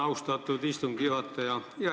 Austatud istungi juhataja!